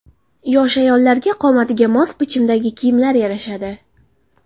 Yosh ayollarga qomatiga mos bichimdagi kiyimlar yarashadi.